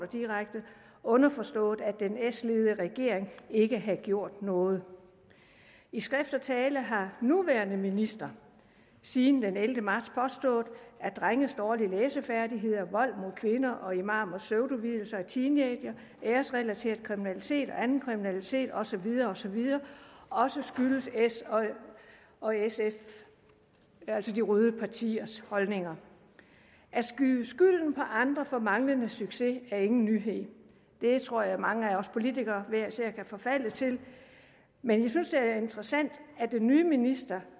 underforstået at den s ledede regering ikke havde gjort noget i skrift og tale har nuværende minister siden den ellevte marts påstået at drenges dårlige læsefærdigheder vold mod kvinder og imamers pseudovielser af teenagere æresrelateret kriminalitet og anden kriminalitet og så videre og så videre også skyldes s og sf altså de røde partiers holdninger at skyde skylden på andre for manglende succes er ingen nyhed det tror jeg mange af os politikere hver især kan forfalde til men jeg synes det er interessant at den nye minister